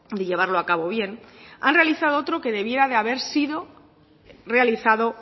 de llevarlo a cabo bien han realizado otro que debiera de haber sido realizado